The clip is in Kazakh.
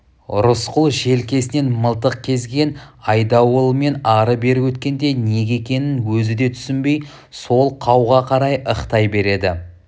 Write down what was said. рысқұл желкесінен мылтық кезеген айдауылмен ары-бері өткенде неге екенін өзі де түсінбей сол қауға қарай ықтай береді